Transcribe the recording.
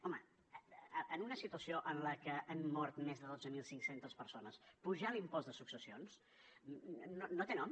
home en una situació en la que han mort més de dotze mil cinc cents persones apujar l’impost de successions no té nom